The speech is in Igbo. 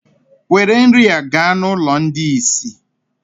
Were nri a gaa n'ụlọ ndị ìsì!